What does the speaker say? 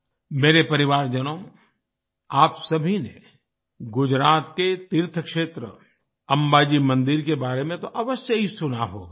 मेरे परिवारजनों आप सभी ने गुजरात के तीर्थक्षेत्र अंबाजी मंदिर के बारे में तो अवश्य ही सुना होगा